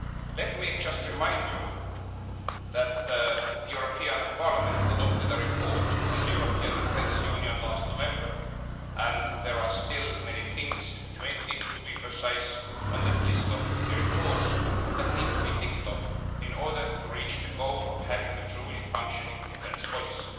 Let me just remind you that the European Parliament adopted a report on the European Defence Union last November and there are still many things, 20 to be precise, on the list in the report that need to be ticked off in order to reach the goal of a truly functional defence policy.